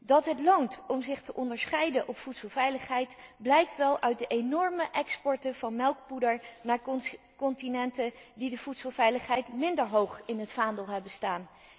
Dat het loont om zich te onderscheiden op voedselveiligheid blijkt wel uit de enorme exporten van melkpoeder naar continenten die de voedselveiligheid minder hoog in het vaandel hebben staan.